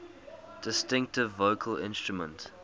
distinctive vocal instrument